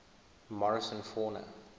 morrison fauna